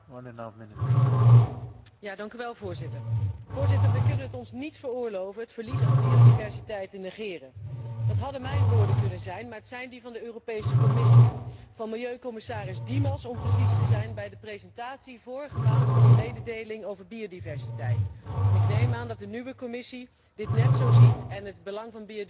Voorzitter, wij kunnen het ons niet veroorloven het verlies aan biodiversiteit te negeren. Dat hadden mijn woorden kunnen zijn, maar het zijn die van de Europese Commissie, van milieucommissaris Dimas, om precies te zijn, bij de presentatie, vorige maand, van een mededeling over biodiversiteit. En ik neem aan dat de nieuwe Commissie dit net zo ziet en het belang van biodiversiteit net zo zwaar inschat.